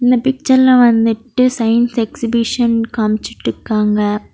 இந்த பிக்சர்ல வந்துட்டு சைன்ஸ் எக்ஸிபிஷன் காமிச்சிட்டு இருக்காங்க.